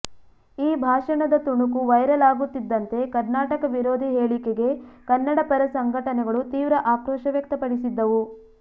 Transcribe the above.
ಈ ಭಾಷಣದ ತುಣುಕು ವೈರಲ್ ಆಗುತ್ತಿದ್ದಂತೆ ಕರ್ನಾಟಕ ವಿರೋಧಿ ಹೇಳಿಕೆಗೆ ಕನ್ನಡ ಪರ ಸಂಘಟನೆಗಳು ತೀವ್ರ ಆಕ್ರೋಶ ವ್ಯಕ್ತಪಡಿಸಿದ್ದವು